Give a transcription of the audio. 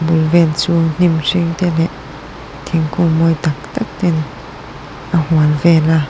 bul vel chu hnim hring te leh thingkung mawi tak tak ten a hual vel a.